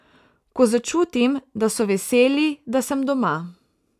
Ko začutim, da so veseli, da sem doma.